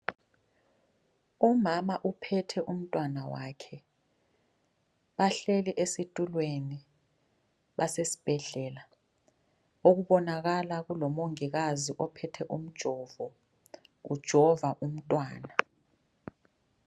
Umama uphethe umntwana wakhe bahleli esitulweni basesibhedlela okubonakala kulomongikazi ophethe umjovo ujova umntwana.